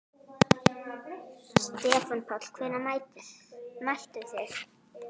Verði hann Guði falinn.